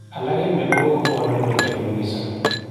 Alak en mionwokik kopwane mutyo kot missing.